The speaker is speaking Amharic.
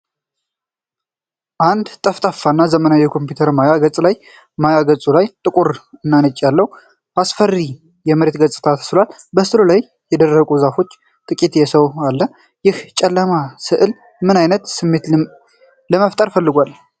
አንድ ጠፍጣፋ እና ዘመናዊ የኮምፒውተር ማያ ገጽ ነው። ማያ ገጹ ላይ ጥቁር እና ነጭ ያለው አስፈሪ የመሬት ገጽታ ተስሏል። በሥዕሉ ላይ የደረቁ ዛፎች እና ጥቂት የሰው አለ። ይህ ጨለማ ሥዕል ምን አይነት ስሜት ለመፍጠር ፈልጓል?